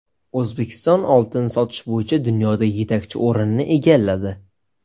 O‘zbekiston oltin sotish bo‘yicha dunyoda yetakchi o‘rinni egalladi.